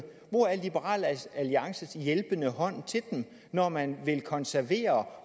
hvor er liberal alliances hjælpende hånd til dem når man vil konservere